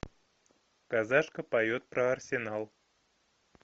казашка поет про арсенал